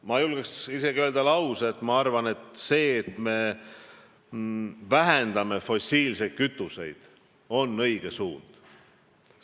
Ma julgen öelda, et suund vähendada fossiilsete kütuste kasutamist on õige suund.